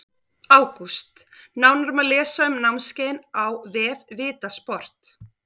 ÁGÚST Nánar má lesa um námskeiðin á vef VITA sport.